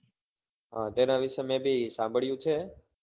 હા તેના વિષે મેં બી સાંભળ્યું છે